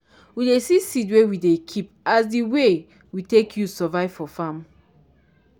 we dey see seed wey we dey keep as di way we take use survive for farm.